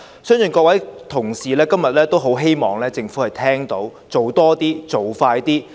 相信各位同事今天也很希望政府聽到，我們要求它做多些，做快些。